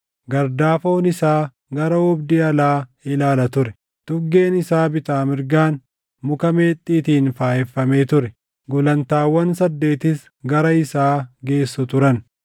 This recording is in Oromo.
Gardaafoon isaa gara oobdii alaa ilaala ture; tuggeen isaa bitaa mirgaan muka meexxiitiin faayeffamee ture; gulantaawwan saddeetis gara isaa geessu turan.